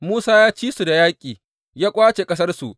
Musa ya ci su da yaƙi, ya ƙwace ƙasarsu.